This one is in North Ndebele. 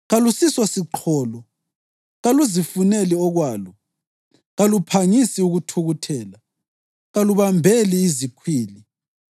Kalusisosiqholo, kaluzifuneli okwalo, kaluphangisi ukuthukuthela, kalubambeli zikhwili.